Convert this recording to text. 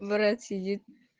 брат сидит